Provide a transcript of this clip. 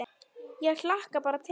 Ég hlakka bara til!